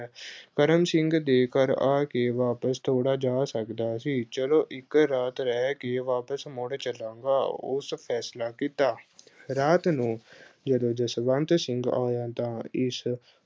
ਕਰਮ ਸਿੰਘ ਦੇ ਘਰ ਆ ਕੇ ਵਾਪਿਸ ਥੋੜਾ ਜਾ ਸਕਦਾ ਸੀ, ਚਲੋ ਇੱਕ ਰਾਤ ਰਹਿ ਕੇ ਵਾਪਿਸ ਮੁੜ ਚੱਲਾਂਗਾ, ਉਸ ਫੈਸਲਾ ਕੀਤਾ। ਰਾਤ ਨੂੰ ਅਹ ਜਦੋਂ ਜਸਵੰਤ ਸਿੰਘ ਆਇਆ ਤਾਂ ਇਸ